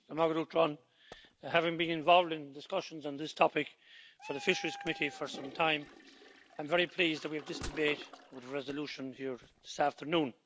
Madam President, having been involved in discussions on this topic for the Fisheries Committee for some time, I'm very pleased that we have this debate with a resolution here this afternoon.